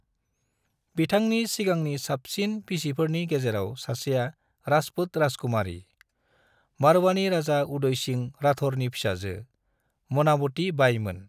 बिथांनि सिगांनि साबसिन बिसिफोरनि गेजेराव सासेआ राजपूत राजकुमारी, मारवाड़नि राजा उदय सिंह राठौरनि फिसाजो, मनावती बाई मोन।